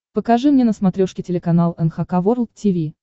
покажи мне на смотрешке телеканал эн эйч кей волд ти ви